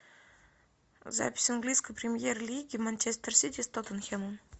запись английской премьер лиги манчестер сити с тоттенхэмом